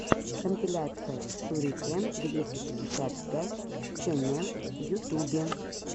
компиляция шурикен двести пятьдесят пять ченел в ютубе